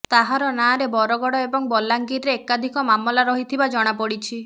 ତାହାର ନା ରେ ବରଗଡ ଏବଂ ବଲାଙ୍ଗୀରେ ଏକାଧିକ ମାମଲା ରହିଥିବା ଜଣା ପଡିଛି